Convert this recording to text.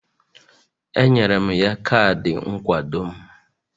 Enyere m ya kaadị nkwado m